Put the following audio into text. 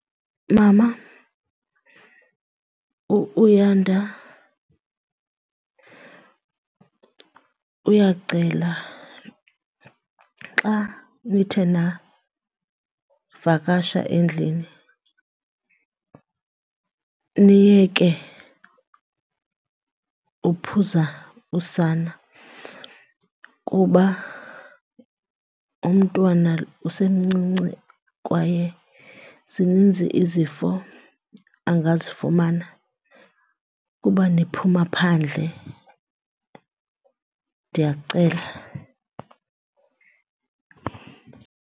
Mama, u-Uyanda uyacela xa nithe navakasha endlini niyeke uphuza usana kuba umntwana usemncinci kwaye zininzi izifo angazifumana kuba niphuma phandle. Ndiyacela.